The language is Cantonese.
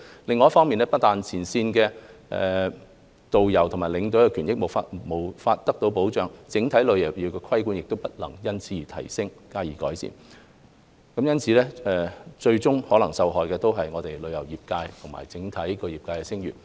另一方面，不但前線導遊和領隊的權益無法得到保障，整體旅遊業的規管也不能因此而提升，加以改善，最終受害的是我們旅遊業界，以及整體業界的聲譽。